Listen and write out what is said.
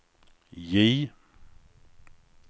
J